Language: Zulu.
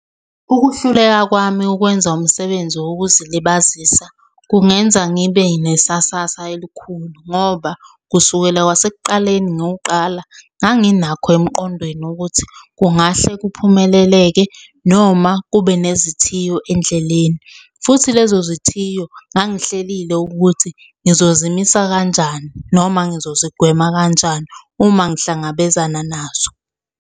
Ukuhluleka kwami ukwenza umsebenzi wokuzilibazisa kungenza ngibe nesasasa elikhulu, ngoba kusukela kwasekuqaleni nguqala ngangingenakho emqondweni ukuthi kungahle kuphumeleleke noma kube nezithiyo endleleni, futhi lezo zithiyo ngangihlelile ukuthi ngizozimisa kanjani noma ngizozigwema kanjani uma ngihlangabezana nazo.